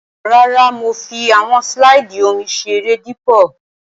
Rárá, mo fi àwọn slide omi seré dípò.